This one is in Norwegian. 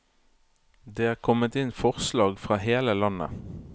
Det er kommet inn forslag fra hele landet.